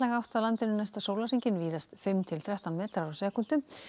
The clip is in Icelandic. átt á landinu næsta sólarhringinn víðast fimm til þrettán metrar á sekúndu